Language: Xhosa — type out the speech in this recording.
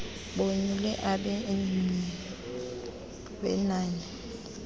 bonyule abenmye wenani